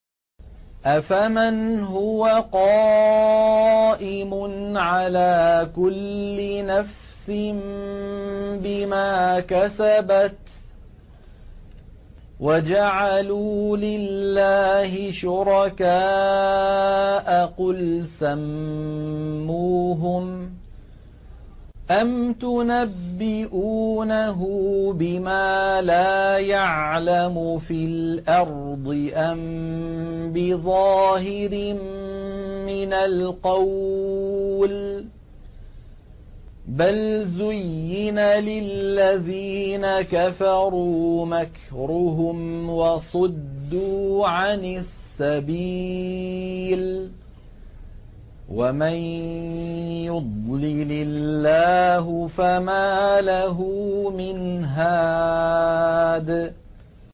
أَفَمَنْ هُوَ قَائِمٌ عَلَىٰ كُلِّ نَفْسٍ بِمَا كَسَبَتْ ۗ وَجَعَلُوا لِلَّهِ شُرَكَاءَ قُلْ سَمُّوهُمْ ۚ أَمْ تُنَبِّئُونَهُ بِمَا لَا يَعْلَمُ فِي الْأَرْضِ أَم بِظَاهِرٍ مِّنَ الْقَوْلِ ۗ بَلْ زُيِّنَ لِلَّذِينَ كَفَرُوا مَكْرُهُمْ وَصُدُّوا عَنِ السَّبِيلِ ۗ وَمَن يُضْلِلِ اللَّهُ فَمَا لَهُ مِنْ هَادٍ